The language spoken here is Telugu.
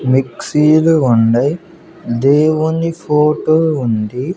మిక్సీ లు ఉండై దేవుని ఫోటో ఉంది.